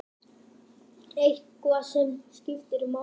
Eitthvað sem skiptir máli?